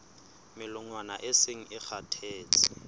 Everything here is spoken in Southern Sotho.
melongwana e seng e kgathetse